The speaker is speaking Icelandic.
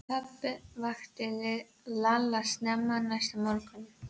Pabbi vakti Lalla snemma næsta morgun.